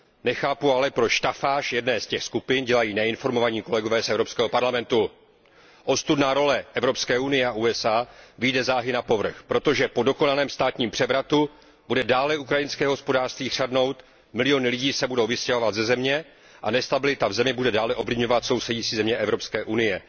Nechápu ale, proč stafáž jedné z těch skupin dělají neinformovaní kolegové z Evropského parlamentu. Ostudná role Evropské unie a USA vyjde záhy napovrch, protože po dokonalém státním převratu bude dále ukrajinské hospodářství chřadnout, miliony lidí se budou vystěhovávat ze země a nestabilita v zemi bude dále ovlivňovat sousedící země Evropské unie.